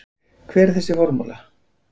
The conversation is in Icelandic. Hver er formúla þess?